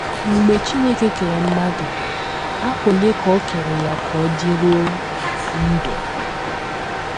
Mgbe Chineke kere mmadụ, afọ ole ka o kere ya ka ọ dịruo ndụ?